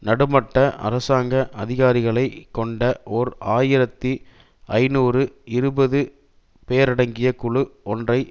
நடுமட்ட அரசாங்க அதிகாரிகளை கொண்ட ஓர் ஆயிரத்தி ஐநூறு இருபது பேரடங்கிய குழு ஒன்றை